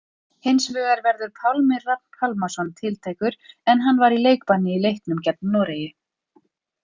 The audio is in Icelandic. Hinsvegar verður Pálmi Rafn Pálmason tiltækur en hann var í leikbanni í leiknum gegn Noregi.